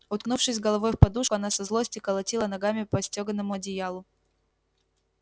уткнувшись головой в подушку она со злости колотила ногами по стёганому одеялу